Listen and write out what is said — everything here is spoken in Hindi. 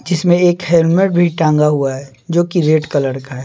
जिसमें एक हेलमेट भी टांगा हुआ है जो कि रेड कलर का है।